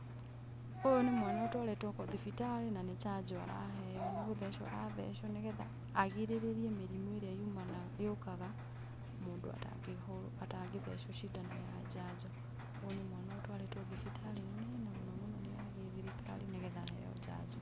Ũyũ nĩ mwana ũtwarĩtwo thibitarĩ na nĩ janjo araheo. Nĩ gũthecwo arathecwo, nĩgetha agirĩrĩrie mĩrimũ ĩrĩa yumanaga, yũkaga mũndũ atangĩthecwo cindano ya janjo. Ũyũ nĩ mwana, ũtwarĩtwo thibitarĩ-inĩ, na mũno mũno nĩ ya gĩthirikari, nĩgetha aheo janjo.